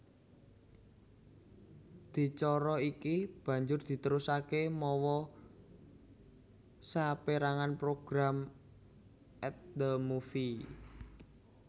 Adicara iki banjur diterusaké mawa sapérangan program At the Movies